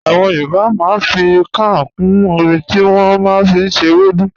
Àwọn Yorùbá màá n fi kàán kún ọmí tí wọ́n màá n fi ṣẹ̀ èwèdú.